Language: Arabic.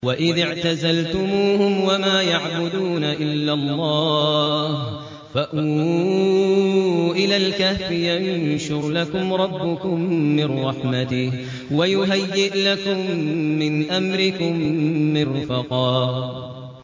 وَإِذِ اعْتَزَلْتُمُوهُمْ وَمَا يَعْبُدُونَ إِلَّا اللَّهَ فَأْوُوا إِلَى الْكَهْفِ يَنشُرْ لَكُمْ رَبُّكُم مِّن رَّحْمَتِهِ وَيُهَيِّئْ لَكُم مِّنْ أَمْرِكُم مِّرْفَقًا